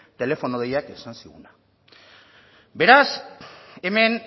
telefono deiak esan ziguna beraz hemen